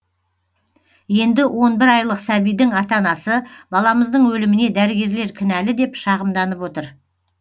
енді он бір айлық сәбидің ата анасы баламыздың өліміне дәрігерлер кінәлі деп шағымданып отыр